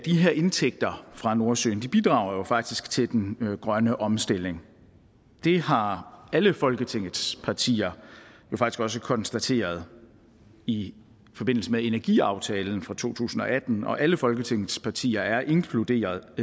her indtægter fra nordsøen bidrager faktisk til den grønne omstilling det har alle folketingets partier også konstateret i forbindelse med energiaftalen for to tusind og atten og alle folketingets partier er inkluderet